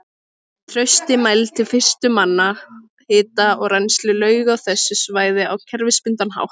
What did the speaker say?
Trausti mældi fyrstur manna hita og rennsli lauga á þessu svæði á kerfisbundinn hátt.